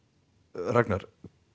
Ragnar